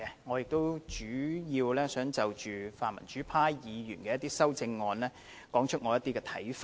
我亦主要想就泛民主派議員的一些修正案表達我的看法。